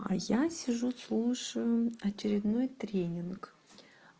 а я сижу слушаю очередной тренинг